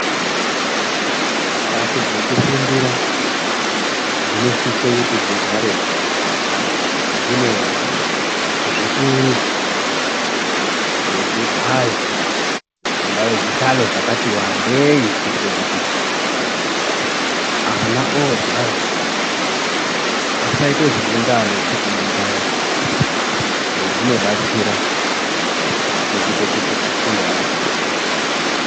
Mbatso dzeku fundira dzino sise kuti dzigare dzine zvituru ne zvigayo zvingave zvi hlayo zvakati wandei kuitire kuti ana ogara asaite zvekunga ano tsikinyidzana zvino batsira muku ite kuti afunde aka sungunuka.